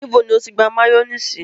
Níbò ni o tì gbà mayonnaise?